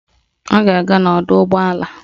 Ọ ga-aga n'ọdọụgbọala